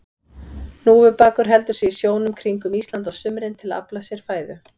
Hnúfubakur heldur sig í sjónum kringum Ísland á sumrin til að afla sér fæðu.